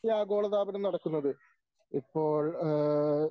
ഈ ആഗോളതാപനം നടക്കുന്നത്. ഇപ്പോൾ ഏഹ്